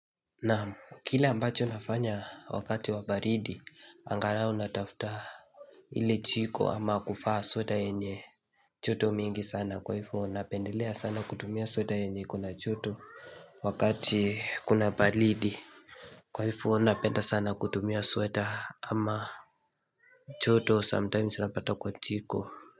Nam, kile ambacho nafanya wakati wa baridi angalau natafuta ile chiko ama kuvaa sweta yenye joto mingi sana kwa ivo napendelea sana kutumia sweta yenye iko na joto wakati kuna baridi Kwa ivo napenda sana kutumia sweta ama joto sometimes napata kwa jiko.